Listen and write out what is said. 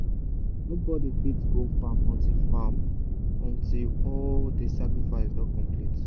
nobody fit go farm until farm until all the sacrifice don complete.